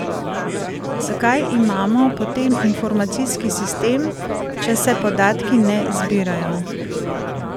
Zakaj imamo potem informacijski sistem, če se podatki ne zbirajo?